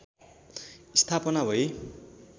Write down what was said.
स्थापना भई